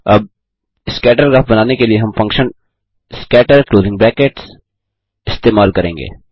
अब scatter graph बनाने के लिए हम फंक्शन scatter इस्तेमाल करेंगे